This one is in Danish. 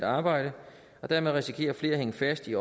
arbejde og dermed risikerer flere at hænge fast i